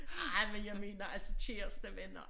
Ej men jeg mener altså kæreste venner